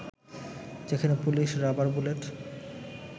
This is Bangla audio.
সেখানে পুলিশ রাবার বুলেট